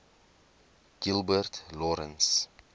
gilbert lawrence